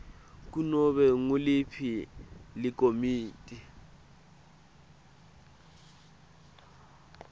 kunobe nguliphi likomiti